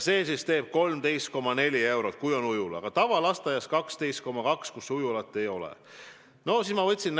See teeb siis 13,4%, kui on ujula, aga tavalasteaias, kus ujulat ei ole, 12,2%.